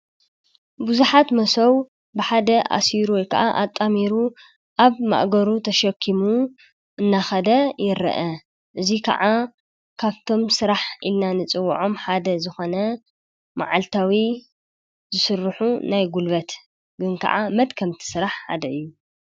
ብዙሓት መሶብ ብሓደ አሲሩ ወይ ከኣ አጣሚሩ አብ ማእገሩ ተሸኪሙ እናኸደ ይረአ:: እዚ ከዓ ካብቶም ስራሕ ኢልና ንፅዉዖም ሓደ ዝኮነ መዓልታዊ ስርሑ ናይ ጉልበት ግን ከዓ መድከምቲ ስራሕ ሓደ እዪ ።